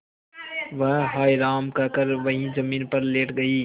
वह हाय राम कहकर वहीं जमीन पर लेट गई